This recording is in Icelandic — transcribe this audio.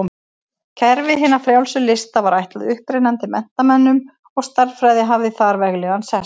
Kerfi hinna frjálsu lista var ætlað upprennandi menntamönnum og stærðfræði hafði þar veglegan sess.